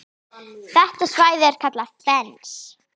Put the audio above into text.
Þetta svæði er kallað Fens.